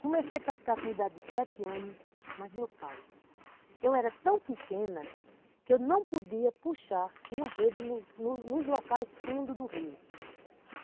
Comecei a pescar com idade de sete anos, mais meu pai, eu era tão pequena que eu não podia puxar uma rede nos nos nos locais fundos do rio.